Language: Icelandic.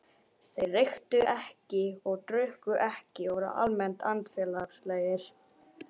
Þeir reyktu ekki og drukku ekki og voru almennt andfélagslegir.